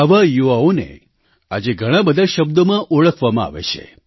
આવા યુવાઓને આજે ઘણા બધા શબ્દોમાં ઓળખવામાં આવે છે